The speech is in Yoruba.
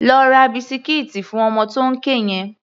Lọ ra bisikíìtì fún ọmọ tó ń ké yẹn!